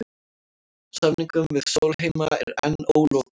Samningum við Sólheima er enn ólokið